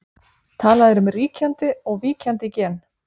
Talað er um ríkjandi og víkjandi gen.